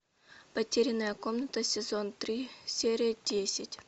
потерянная комната сезон три серия десять